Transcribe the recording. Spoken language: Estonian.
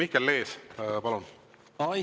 Mihkel Lees, palun!